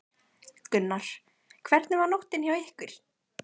Gunnar: Hvernig var nóttin hjá ykkur?